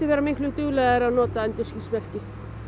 vera miklu duglegri að nota endurskinsmerki